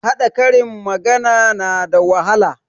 Haɗa karin magana na da wahala